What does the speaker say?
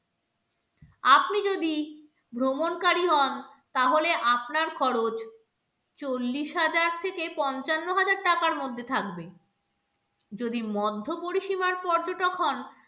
আপনি যদি ভ্রমণকারী হন তাহলে আপনার খরচ চল্লিশ হাজার থেকে পঞ্চান্ন হাজার টাকার মধ্যে থাকবে যদি মধ্যপরিষীমার পর্যটক হন